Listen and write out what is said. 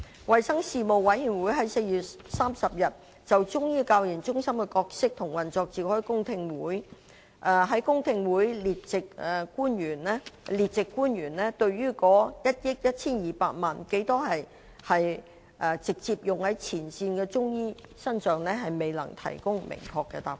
衞生事務委員會於4月30日就中醫教研中心的角色和運作召開公聽會，在公聽會上，列席官員對於在1億 1,200 萬元中，有多少錢是直接用於前線的中醫師身上，未能提供明確的答覆。